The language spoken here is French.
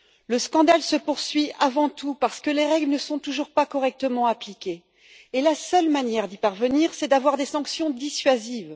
Le scandale se poursuit avant tout parce que les règles ne sont toujours pas correctement appliquées et la seule manière d'y parvenir, c'est d'avoir des sanctions dissuasives.